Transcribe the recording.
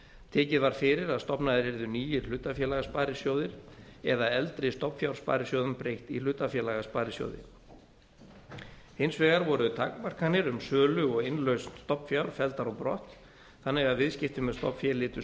tekið var fyrir að stofnaðir yrðu nýir hlutafélagasparisjóðir eða eldri stofnfjársparisjóðum breytt í hlutafélagasparisjóði hins vegar voru takmarkanir um sölu og innlausn stofnfjár felldar á brott þannig að viðskipti með stofnfé lytu